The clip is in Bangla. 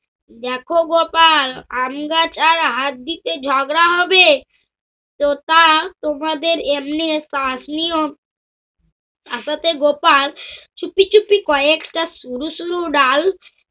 দেখ গোপাল আমগাছ আর হাত দিতে ঝগড়া হবে? আদতে গোপাল ছুপি ছুপি কয়েকটা ছোডু ছোডু ডাল